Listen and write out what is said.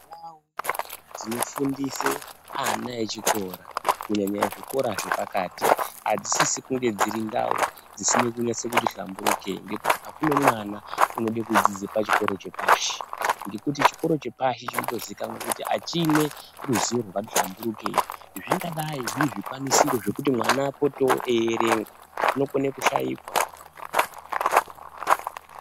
Ndau dzinofundise ana echikora kunyanya ezvikora zvepakati adzisisi kunge dziri ndau dzisina kunase kuti hlamburukei ngekuti akune mwana unode kudzidze pachikoro chepashi ngekuti chikoro chepashi chinotozikanwa kuti achine ruzivo rwakati hlamburukei zvingadai zviri zvikwanisiro zvekuti mwana apotewo eierenga zvinokone kushaikwa.